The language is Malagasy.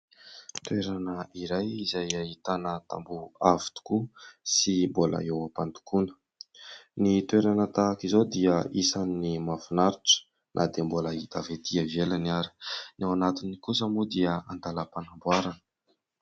Toerana iray izay ahitana tamboho avo tokoa sy mbola eo am-pandokoana. Ny toerana tahaka izao dia isany tena mahafinaritra na dia mbola hita avy etỳ ivelany ary. Ny ao anatiny kosa moa dia an-dalam-panamboarana.